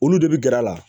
Olu de bi gɛr'a la